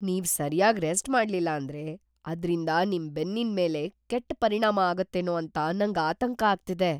ನೀವ್‌ ಸರ್ಯಾಗ್‌ ರೆಸ್ಟ್‌ ಮಾಡ್ಲಿಲ್ಲ ಅಂದ್ರೆ ಅದ್ರಿಂದ ನಿಮ್‌ ಬೆನ್ನಿನ್‌ ಮೇಲೆ ಕೆಟ್‌ ಪರಿಣಾಮ ಆಗತ್ತೇನೋ ಅಂತ ನಂಗ್‌ ಆತಂಕ ಆಗ್ತಿದೆ.